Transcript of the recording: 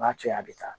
N'a cɛna a bɛ taa